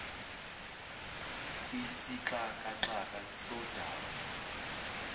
kwisixaka xaka sodaba